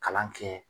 Kalan kɛ